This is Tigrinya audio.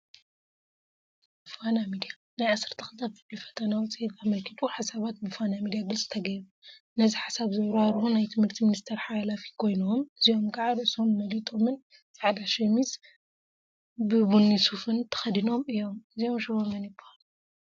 ፋና ሚድያ ናይ 12 ክፍሊ ፈተና ውፅኢት አመልኪቱ ሓሳባት ብፋና ሚድያ ግልፂ ተገይሩ፡፡ ነዚ ሓሳብ ዘብራህርሁ ናይ ትምህርቲ ሚኒስትር ሓላፊ ኮይኖም፤ እዚኦም ከዓ ርእሶም መሊጦምን ፃዕዳ ሸሚዝn ቡኒ ሱፍን ተከዲኖም እዮም፡፡ እዚኦም ሽሞም መን ይበሃሉ?